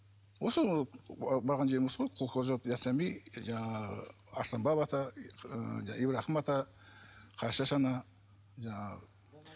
осы барған жерім осы ғой жаңағы арыстанбап ата ыыы ибрахим ата қарашаш ана жаңағы